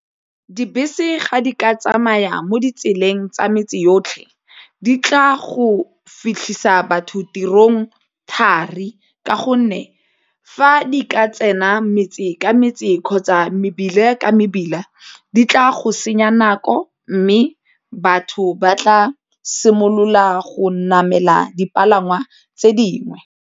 Dibese ga di ka tsamaya mo ditseleng tsa metse yotlhe di tla go fitlhisa batho tirong thari ka gonne fa di ka tsena metse ka metse kgotsa mebila ka mebila, di tla go senya nako mme batho ba tla simolola go namela dipalangwa tse dingwe.